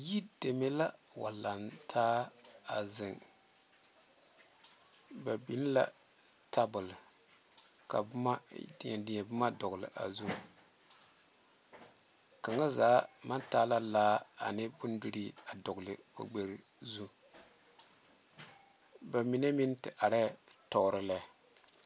Yi deme la wa lantaa zeŋe ba big la tabole ka dɛdɛ boma big a zu kaŋ zaa maŋ ta la laa ane bondirii a zu ba mine meŋ te are tuoro lɛ.